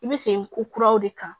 I bɛ sen ko kuraw de kan